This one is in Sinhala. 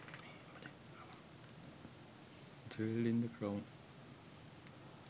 jewel in the crown